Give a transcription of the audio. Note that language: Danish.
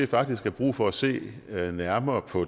faktisk er brug for at se nærmere på